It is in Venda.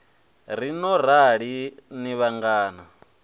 ri no rali ni vhananga